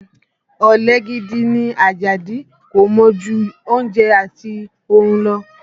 Ọ̀lẹ gidi ni Àjàdí, kò mọ̀ ju oúnjẹ àti orun lọ